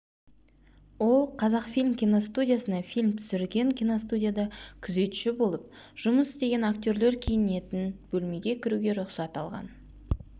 ол қазақфильм киностудиясына фильм түсірген киностудияда күзетші болып жұмыс істеген актерлер киінетін бөлмеге кіруге рұқсат алған